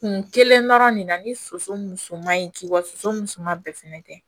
Kun kelen dɔrɔn de na ni soso musoman in k'i waso musoman bɛɛ fɛnɛ tɛ